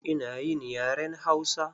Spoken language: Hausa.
Ina yin yaren Hausa.